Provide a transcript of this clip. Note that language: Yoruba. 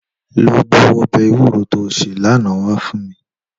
Lò bú òbè éwùró tó sé làná wá fún mí